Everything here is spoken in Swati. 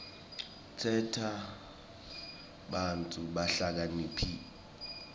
tenta bantfu bahlakaniphe